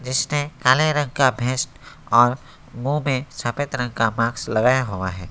इसने काले रंग का और मुंह में सफेद रंग का मास्क लगाया हुआ है।